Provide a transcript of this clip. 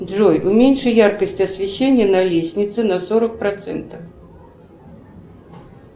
джой уменьши яркость освещения на лестнице на сорок процентов